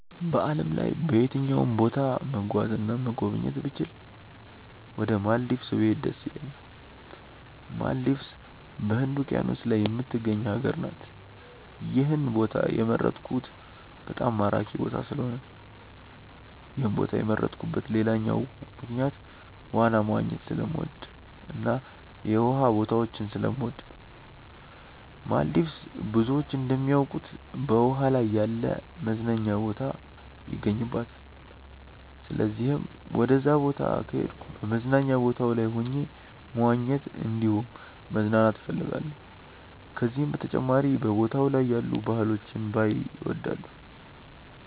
በዓለም ላይ በየትኛውም ቦታ መጓዝ እና መጎብኘት ብችል ወደ ማልዲቭስ ብሄድ ደስ ይለኛል። ማልዲቭስ በህንድ ውቂያኖስ ላይ የምትገኝ ሀገር ናት። ይህን ቦታ የመረጥኩት በጣም ማራኪ ቦታ ስለሆነ ነው። ይህን ቦታ የመረጥኩበት ሌላኛው ምክንያት ዋና መዋኘት ስለምወድ እና የውሃ ቦታዎችን ስለምወድ ነው። ማልዲቭስ ብዙዎች እንደሚያውቁት በውሃ ላይ ያለ መዝናኛ ቦታ ይገኝባታል። ስለዚህም ወደዛ ቦታ ከሄድኩ በመዝናኛ ቦታው ላይ ሆኜ መዋኘት እንዲሁም መዝናናት እፈልጋለሁ። ከዚህም በተጨማሪ በቦታው ላይ ያሉ ባህሎችን ባይ እወዳለሁ።